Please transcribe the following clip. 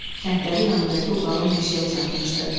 Kəndləri yanındakı o qalın meşəyə çatmışdı.